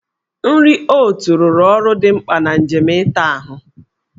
Nri oot rụrụ ọrụ dị mkpa na njem ịta ahụ ya.